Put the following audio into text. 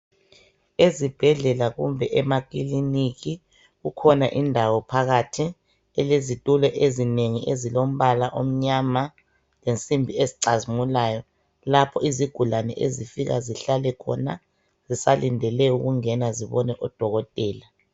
Ezibhedlela kumbe emakiliniki kukhona indawo phakathi elezitulo ezinengi ezilombala omnyama lensimbi ezicazimulayo lapho izigulane ezifika zihlale khona zisalendele ukungena zibone odokotela.